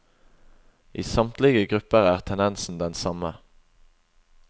I samtlige grupper er tendensen den samme.